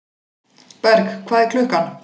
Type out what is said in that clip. Berg, hvað er klukkan?